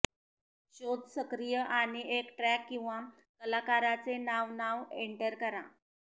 शोध सक्रिय आणि एक ट्रॅक किंवा कलाकाराचे नाव नाव एंटर करा